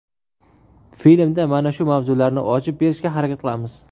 Filmda mana shu mavzularni ochib berishga harakat qilamiz.